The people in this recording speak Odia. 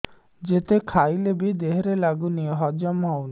ଯେତେ ଖାଇଲେ ବି ଦେହରେ ଲାଗୁନି ହଜମ ହଉନି